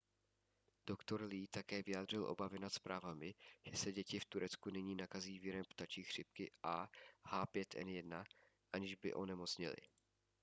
doktor lee také vyjádřil obavy nad zprávami že se děti v turecku nyní nakazí virem ptačí chřipky ah5n1 aniž by onemocněly